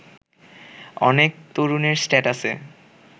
অনেক তরুণের স্ট্যাটাসে